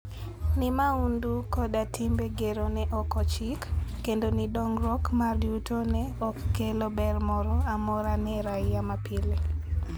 Ni mahundu koda timbe gero ne ok ochik, kendo ni dongruok mar yuto ne ok okelo ber moro amora ne raia mapile.